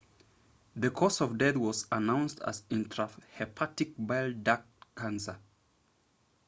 the cause of death was announced as intrahepatic bile duct cancer